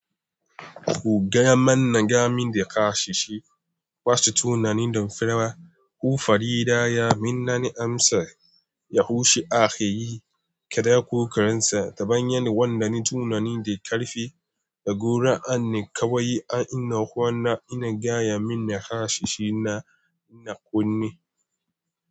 Ku gamana nadawomin jaka shi shi Hu farida ya minnani amsa ya hushi ake yi, kada ko karinsa ta bayan yanda ni tunanin da karfi da gora anne kawai. A ina kwana ina gaya min na kashi shi na ina kunne.